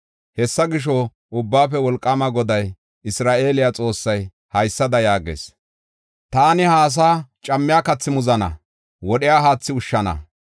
Hessa gisho, Ubbaafe Wolqaama Goday, Isra7eele Xoossay haysada yaagees: “Taani ha asaa cammiya kathi muzana; wodhiya haathi ushshana.